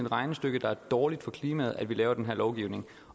regnestykke der er dårligt for klimaet at vi laver den her lovgivning